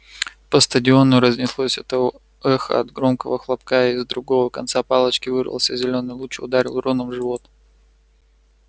по стадиону разнеслось эхо от громкого хлопка из другого конца палочки вырвался зелёный луч и ударил рона в живот